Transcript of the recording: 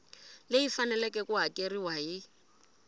leyi faneleke ku hakeriwa hi